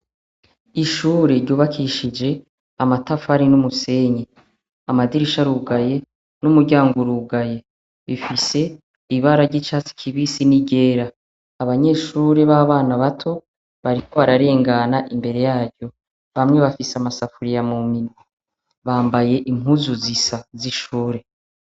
Ishure ryubakishije amatafari n'umusenyi amadirisha rugaye n'umuryango urugaye bifise ibara ry'icatsikibisi n'igera abanyeshure b'abana bato bariko ararengana imbere yaryo bamwe bafise amasafuriya mu minwe bambaye impuzu zisa z'ishure.